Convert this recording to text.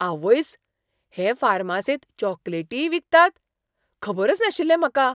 आवयस्स, हे फार्मासींत चॉकलेटीय विकतात? खबरच नाशिल्लें म्हाका!